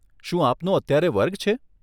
શું આપનો અત્યારે વર્ગ છે?